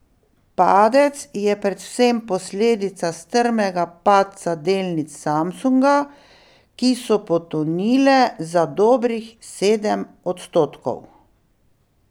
Padec je predvsem posledica strmega padca delnic Samsunga, ki so potonile za dobrih sedem odstotkov.